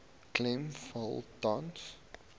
klem val tans